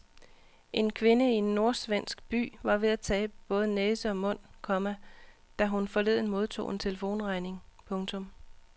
En kvinde i en nordsvensk by var ved at tabe både næse og mund, komma da hun forleden modtog en telefonregning. punktum